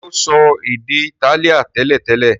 ṣe o so èdè Itálíà teletele?